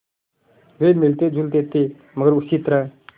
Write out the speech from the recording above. वे मिलतेजुलते थे मगर उसी तरह